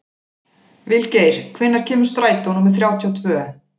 Vilgeir, hvenær kemur strætó númer þrjátíu og tvö?